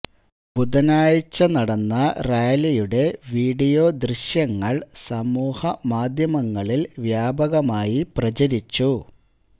ബുധനാഴ്ച നടന്ന റാലിയുടെ വിഡിയോ ദൃശ്യങ്ങള് സമൂഹ മാധ്യമങ്ങളില് വ്യാപകമായി പ്രചരിച്ചു